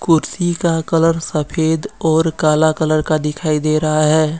कुर्सी का कलर सफ़ेद और काला कलर का दिखाई दे रहा है।